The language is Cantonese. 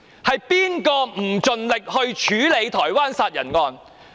是誰不盡力處理台灣殺人案？